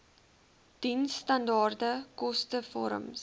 diensstandaard koste vorms